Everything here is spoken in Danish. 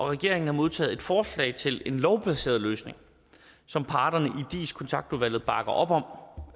regeringen har modtaget et forslag til en lovbaseret løsning som parterne i dis kontaktudvalget bakker op om